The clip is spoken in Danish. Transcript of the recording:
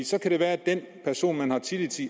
så kan det være at den person man har tillid til